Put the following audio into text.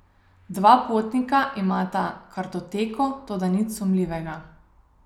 Dva potnika imata kartoteko, toda nič sumljivega.